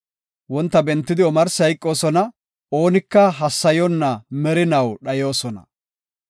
Wonta bentidi omarsi hayqoosona; oonika hassayonna merinaw dhayoosona.